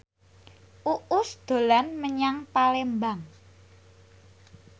Uus dolan menyang Palembang